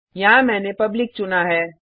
यहाँ मैंने पब्लिक चुना है